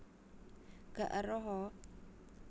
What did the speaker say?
Gak eruh a